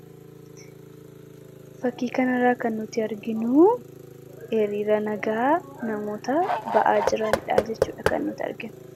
Fakii kana irraa kan nutti arginuu hiriira nagaa namoota ba'aa jiraandhaa jechuudha kan nutti arginu.